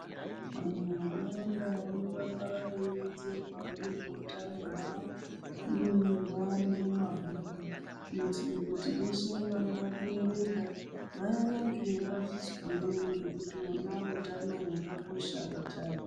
Vantu vakawanda vanoramba veironzerwa nezveutano hwavo. Zvinonyorwa nemumabhuku kuitire kuti veshe vanoda kuerenga vaerenge vazvizwire nekuti wona utano hwakakosha pachawo.